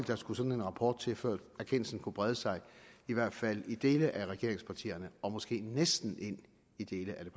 der skulle sådan en rapport til før erkendelsen kunne brede sig i hvert fald i dele af regeringspartierne og måske næsten ind i dele af det